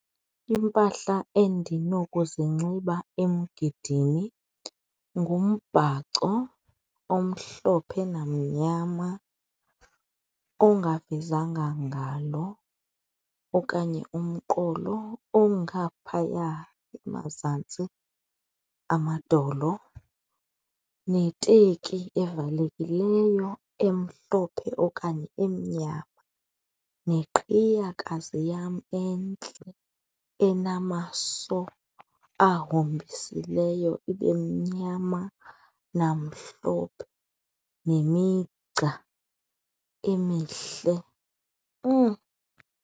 Iimpahla endinokuzinxiba emgidini ngumbhaco omhlophe namnyama ongavezanga ngalo okanye umqolo ongaphaya emazantsi amadolo neteki evalekileyo emhlophe okanye emnyama neqhiyakazi yam entle enamaso ahombisileyo, ibe mnyama namhlophe nemigca emihle .